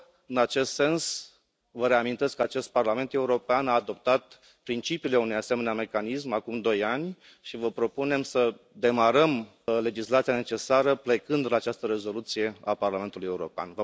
În acest sens, vă reamintesc că acest Parlament European a adoptat principiile unui asemenea mecanism acum doi ani și vă propunem să demarăm legislația necesară plecând de la această rezoluție a Parlamentului European.